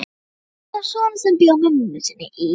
Svo átti hann son sem bjó með mömmu sinni í